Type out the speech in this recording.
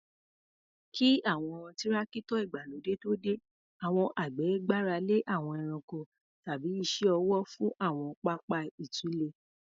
Kí àwọn Tírákítọ̀ ìgbàlódé tó dé, àwọn àgbẹ̀ gbára lé àwọn ẹranko tàbí iṣẹ́ ọwọ́ fún àwọn pápá ìtúlẹ̀.